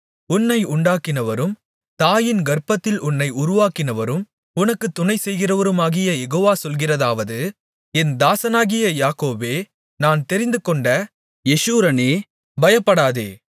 உன்னை உண்டாக்கினவரும் தாயின் கர்ப்பத்தில் உன்னை உருவாக்கினவரும் உனக்குத் துணை செய்கிறவருமாகிய யெகோவா சொல்கிறதாவது என் தாசனாகிய யாக்கோபே நான் தெரிந்துகொண்ட யெஷூரனே பயப்படாதே